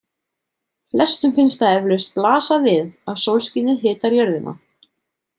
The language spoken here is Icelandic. Flestum finnst það eflaust blasa við að sólskinið hitar jörðina.